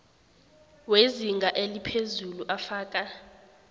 wezinga eliphezulu afaka